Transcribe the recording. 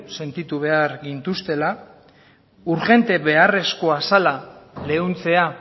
sentitu behar gintuztela urgente beharrezkoa zela leuntzea